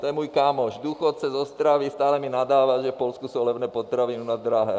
To je můj kámoš, důchodce z Ostravy, stále mi nadává, že v Polsku jsou levné potraviny, u nás drahé.